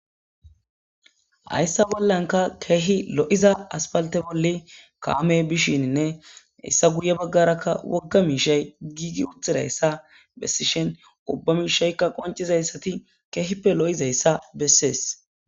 Hayssa bollanka keehi lo'iza aspalte bolle kaame bishininne issa guye baggarakka wogga miishay giigi uthirayssa bessishen ubba miishaykka qoncizayssati keehippe lo'izayssa bessees